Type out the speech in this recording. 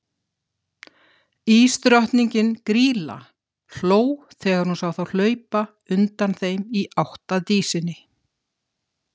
Ísdrottningin, Grýla, hló þegar hún sá þá hlaupa undan þeim í átt að Dísinni.